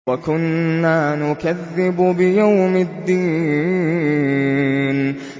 وَكُنَّا نُكَذِّبُ بِيَوْمِ الدِّينِ